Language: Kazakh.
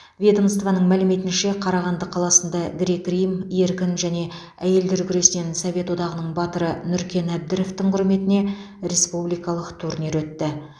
ведомствоның мәліметінше қарағанды қаласында грек рим еркін және әйелдер күресінен совет одағының батыры нүркен әбдіровтың құрметіне республикалық турнир өтті